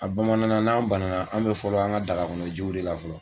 A bamanan n'an banna an bɛ fɔlɔ an ka daga kɔnɔ jiw de la fɔlɔ.